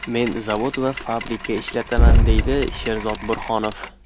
Men zavod va fabrika ishlataman, deydi Sherzod Burhonov.